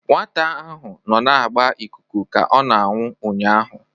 Nwata ahụ nọ na-agba ikuku ka ọ na-aṅụ ụnyahụ.